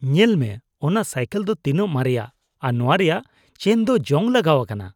ᱧᱮᱞ ᱢᱮ, ᱚᱱᱟ ᱥᱟᱭᱠᱮᱞ ᱫᱚ ᱛᱤᱱᱟᱹᱜ ᱢᱟᱨᱮᱭᱟ ᱟᱨ ᱱᱚᱶᱟ ᱨᱮᱭᱟᱜ ᱪᱮᱱ ᱫᱚ ᱡᱚᱝ ᱞᱟᱜᱟᱣ ᱟᱠᱟᱱᱟ ᱾